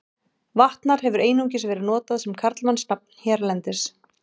Vatnar hefur einungis verið notað sem karlmannsnafn hérlendis.